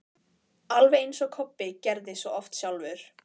Alveg eins og Kobbi gerði svo oft sjálfur.